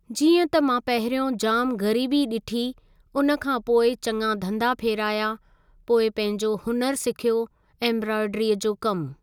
जीअं त मां पहिरियों जामु ग़रीबी ॾिठी उन खां पोइ चंङा धंधा फेराया पोइ पंहिंजो हुनरु सिखयो एम्ब्रॉइडरी जो कमु।